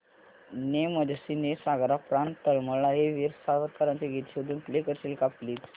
ने मजसी ने सागरा प्राण तळमळला हे वीर सावरकरांचे गीत शोधून प्ले करशील का प्लीज